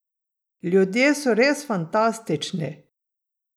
Ljudje so res fantastični!